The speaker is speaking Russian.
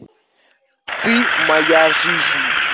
ты моя жизнь